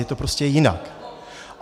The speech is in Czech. Je to prostě jinak.